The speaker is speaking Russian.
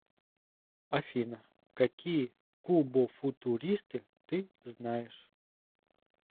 афина какие кубофутуристы ты знаешь